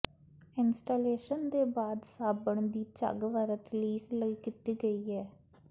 installation ਦੇ ਬਾਅਦ ਸਾਬਣ ਦੀ ਝੱਗ ਵਰਤ ਲੀਕ ਲਈ ਕੀਤੀ ਗਈ ਹੈ